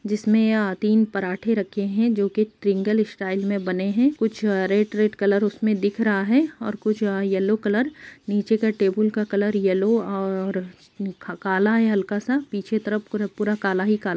जिसमे तिन पराठे रखे है जो की ट्रीएंगल स्टाइल में बने है कुछ रेड रेड कलर उसमे दिख रहा है और कुछयल्लो कलर नीचे का टेबल का कलर यल्लो और काला है हलका सा पीछे के तरफ पूरा काला ही काला।